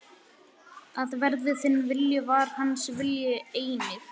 Að verði þinn vilji, var hans vilji einnig.